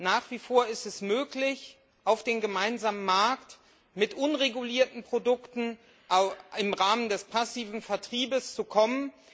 Nach wie vor ist es möglich, auf den gemeinsamen Markt mit unregulierten Produkten im Rahmen des passiven Vertriebes zu kommen.